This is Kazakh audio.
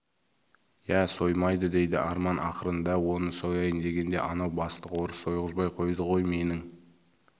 иә соймайды дейді арман ақырын дәу оны сояйын дегенде анау бастық орыс сойғызбай қойды ғой менің